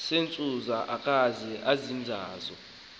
zentsusa okanye izixando